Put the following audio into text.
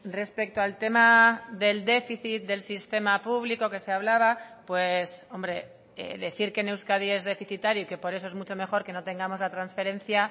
respecto al tema del déficit del sistema público que se hablaba hombre decir que en euskadi es deficitario y que por eso es mucho mejor que no tengamos la transferencia